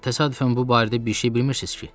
Təsadüfən bu barədə bir şey bilmirsiz ki?